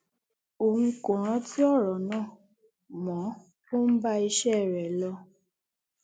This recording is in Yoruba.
òun kò rántí ọrọ náà mo ò ń bá iṣẹ rẹ lọ